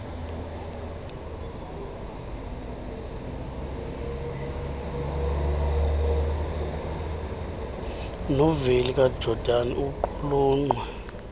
noveli kajordan iqulunqwe